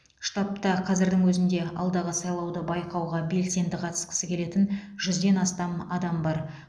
штабта қазірдің өзінде алдағы сайлауды байқауға белсенді қатысқысы келетін жүзден астам адам бар